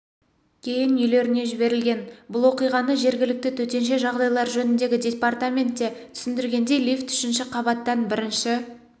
кейін үйлеріне жіберілген бұл оқиғаны жергілікті төтенше жағдайлар жөніндегі департаментте түсіндіргендей лифт үшінші қабаттан бірінші